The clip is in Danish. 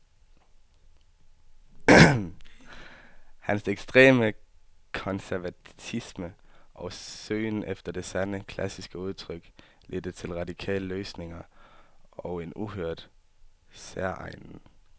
Hans ekstreme konservatisme og søgen efter det sande, klassiske udtryk ledte til radikale løsninger og en uhørt, særegen klangpragt.